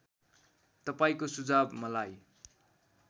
तपाईँको सुझाव मलाई